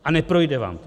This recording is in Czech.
A neprojde vám to.